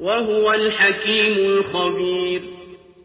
وَهُوَ الْحَكِيمُ الْخَبِيرُ